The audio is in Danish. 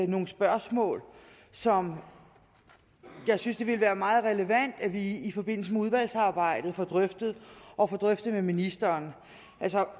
nogle spørgsmål som jeg synes det ville være meget relevant at vi i forbindelse med udvalgsarbejdet får drøftet og får drøftet med ministeren